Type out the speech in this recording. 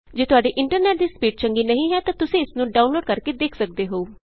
ਜੇ ਤੁਹਾਡੇ ਇੰਟਰਨੈਟ ਦੀ ਸਪੀਡ ਚੰਗੀ ਨਹੀਂ ਹੈ ਤਾਂ ਤੁਸੀਂ ਇਸ ਨੂੰ ਡਾਊਨਲੋਡ ਕਰਕੇ ਦੇਖ ਸਕਦੇ ਹੋ